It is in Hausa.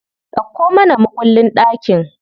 Dauko mana mukullin ɗakin.